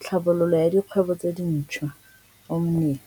Tlhabololo ya Dikgwebo tse Dintshwa, Omnia.